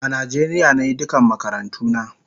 A Nijeria nayi duka makarantuna